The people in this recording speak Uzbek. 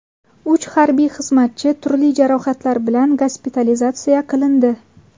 Uch harbiy xizmatchi turli jarohatlar bilan gospitalizatsiya qilindi.